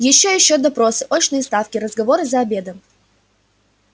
ещё ещё допросы очные ставки разговоры за обедом